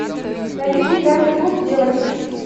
найди гитарный клуб девочек